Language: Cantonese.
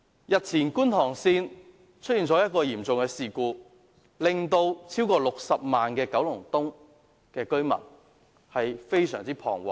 日前港鐵觀塘線出現嚴重事故，令超過60萬名九龍東居民非常彷徨。